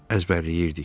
Əzbərləyirdik.